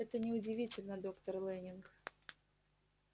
это не удивительно доктор лэннинг